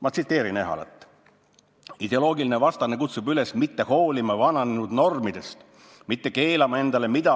Ma tsiteerin Ehalat: "Ideoloogiline vastane kutsub üles mitte hoolima vananenud normidest, mitte keelama endale midagi.